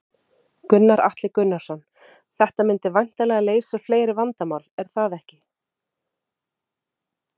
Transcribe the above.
Gunnar Atli Gunnarsson: Þetta myndi væntanlega leysa fleiri vandamál, er það ekki?